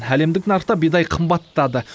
әлемдік нарықта бидай қымбаттады